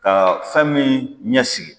Ka fɛn min ɲɛsigi